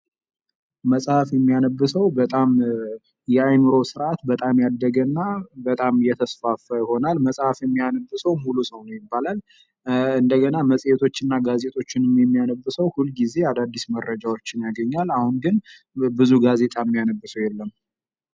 መጽሐፍ የሚያነብ ሰው በጣ ያእምሮ በጣም ያደገና የተስፋፋ የሆናል መጽሐፍ የሚያነብ ሰው ሙሉ ሰው ይባላል። እንደገና መጽሄቶችንና ጋዜጦችን የሚያነብ ሰው ሁልጊዜ አዳዲስ መረጃዎችን ያገኛል። በአሁኑ ጊዜ ግን ብዙ ጋዜጣ የሚያነብ ሰው የለም።